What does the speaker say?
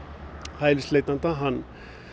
hælisleitenda hann